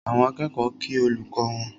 Àwọn akẹ́kọ̀ọ́ kí olùkọ́ wọn